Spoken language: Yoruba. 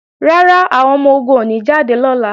Rárá, àwọn ọmọ-ogun ò ní jáde lọ́la